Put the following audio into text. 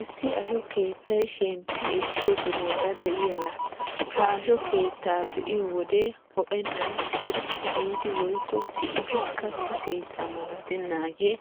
Issi asho keettay shemppi-ekkiyo sohuwaara de'iyaaga. Ha asho keettaa be'iyo wode ho'ennan sirphphi giidi woykko si'idi katta keetta malatennaagee